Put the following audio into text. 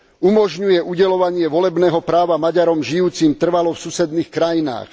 Umožňuje udeľovanie volebného práva Maďarom žijúcim trvalo v susedných krajinách.